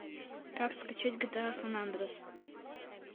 как скачать гта сан андреас